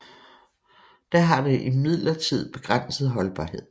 Da har det imidlertid begrænset holdbarhed